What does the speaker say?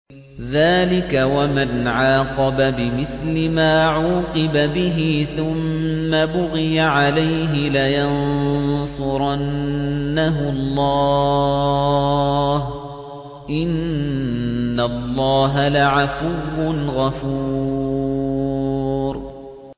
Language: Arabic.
۞ ذَٰلِكَ وَمَنْ عَاقَبَ بِمِثْلِ مَا عُوقِبَ بِهِ ثُمَّ بُغِيَ عَلَيْهِ لَيَنصُرَنَّهُ اللَّهُ ۗ إِنَّ اللَّهَ لَعَفُوٌّ غَفُورٌ